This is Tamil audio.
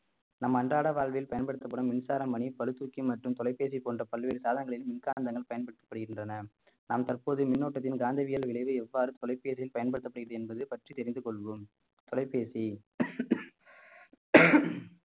நம் அன்றாட வாழ்வில் பயன்படுத்தப்படும் மின்சார மணி பளு தூக்கி மற்றும் தொலைபேசி போன்ற பல்வேறு சாதனங்களில் மின்காந்தங்கள் பயன்படுத்தப்படுகின்றன நாம் தற்போது மின்னோட்டத்தின் காந்தவியல் விளைவு எவ்வாறு தொலைபேசியில் பயன்படுத்தப்படுகிறது என்பது பற்றி தெரிந்து கொள்வோம் தொலைபேசி